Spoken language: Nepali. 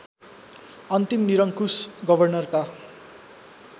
अन्तिम निरङ्कुश गवर्नरका